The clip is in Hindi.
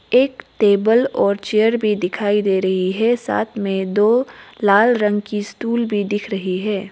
एक टेबल और चेयर भी दिखाई दे रही है साथ में दो लाल रंग की स्टूल भी दिख रही है।